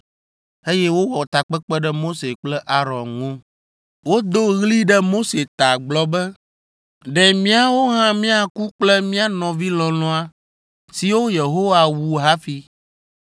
eye wowɔ takpekpe ɖe Mose kple Aron ŋu. Wodo ɣli ɖe Mose ta gblɔ be, “Ɖe míawo hã míaku kple mía nɔvi lɔlɔ̃a siwo Yehowa wu hafi!